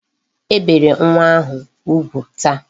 E bere nwa ahụ ugwu taa.